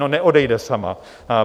No, neodejde sama.